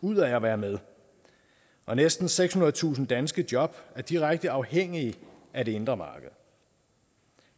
ud af at være med og næsten sekshundredetusind danske job er direkte afhængige af det indre marked